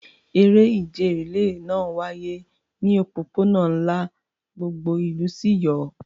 Eré ìje rìléè náà wáyé ní òpópónà ńlá, gbogbo ìlú sì yọ̀.